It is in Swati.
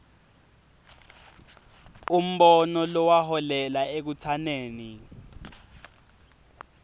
umbono lokwaholela ekutsaneni